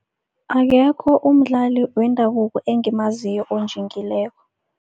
Akekho umdlali wendabuko engimaziko onjingileko.